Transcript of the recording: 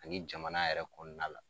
Ani jamana yɛrɛ kɔnɔna la.